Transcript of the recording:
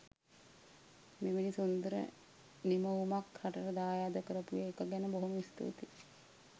මෙවැනි සුන්දර නිමවුමක් රටට දායාද කරපු එක ගැන බොහොම ස්තුතියි